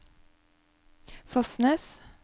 Fosnes